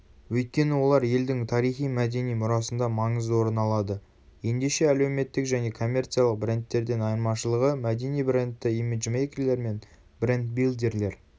өйткені олар елдің тарихи-мәдени мұрасында маңызды орын алады.ендеше әлеуметтік және коммерциялық брендтерден айырмашылығы мәдени брендті имиджмейкерлер мен бренд-билдерлер